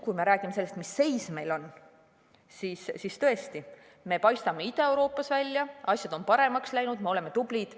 Kui me räägime sellest, mis seis meil on, siis tõesti, me paistame Ida-Euroopas välja, asjad on paremaks läinud, me oleme tublid.